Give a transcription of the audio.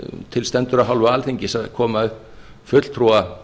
til stendur af hálfu alþingis að koma upp fulltrúa